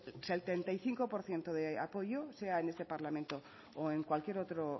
el setenta y cinco por ciento de apoyo sea en este parlamento o en cualquier otro